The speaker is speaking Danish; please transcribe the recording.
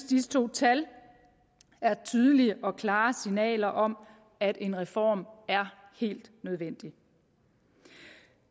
disse to tal er tydelige og klare signaler om at en reform er helt nødvendig